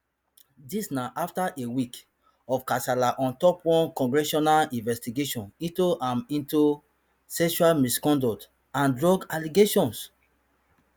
dis na afta a week of kasala on top one congressional investigation into am into sexual misconduct and drug allegations